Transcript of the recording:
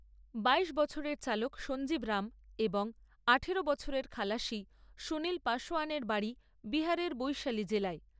বাইশ বছরের চালক সঞ্জীব রাম এবং আঠারো বছরের খালাসি সুনীল পাসোয়ানের বাড়ি বিহারের বৈশালী জেলায়।